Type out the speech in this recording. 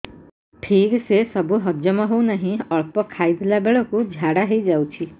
ଠିକସେ ସବୁ ହଜମ ହଉନାହିଁ ଅଳ୍ପ ଖାଇ ଦେଲା ବେଳ କୁ ଝାଡା ହେଇଯାଉଛି